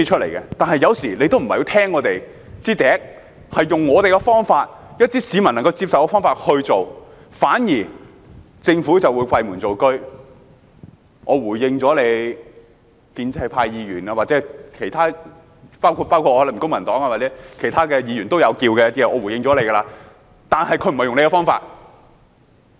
然而，當局有時候不太聽我們的意見，用我們建議的方法、一些市民能夠接受的方法去落實，反而會閉門造車，說已經回應了建制派議員或其他議員，包括我、公民黨或其他提出意見的議員，但當局不是用我們的方法。